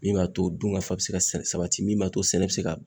Min b'a to dunkafa bɛ se ka sabati min b'a to sɛnɛ bɛ se ka